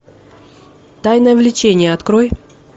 тайное влечение открой